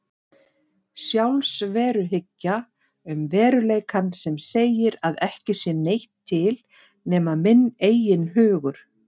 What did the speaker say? Sjálfsveruhyggja um veruleikann sem segir að ekki sé neitt til nema minn eigin hugur.